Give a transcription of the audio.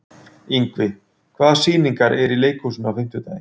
Ingvi, hvaða sýningar eru í leikhúsinu á fimmtudaginn?